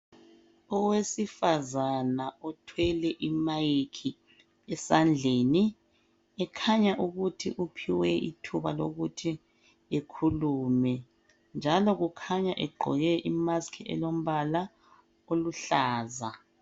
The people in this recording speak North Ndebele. Owesifazana othwele imayikhi esandleni ekhanya ukuthi uphiwe ithuba lokuthi akhulume njalo ukhanya egqoke imaski elombala eluhlaza .